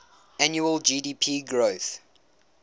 annual gdp growth